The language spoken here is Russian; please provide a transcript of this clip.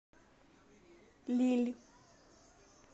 лилль